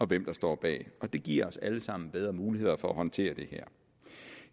hvem der står bag og det giver os alle sammen bedre muligheder for at håndtere det her